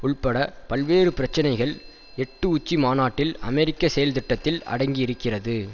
உள்பட பல்வேறு பிரச்சினைகள் எட்டு உச்சி மாநாட்டில் அமெரிக்க செயல்திட்டத்தில் அடங்கி இருக்கிறது